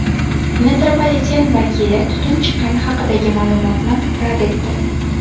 Metropoliten vakili tutun chiqqani haqidagi ma’lumotni rad etdi.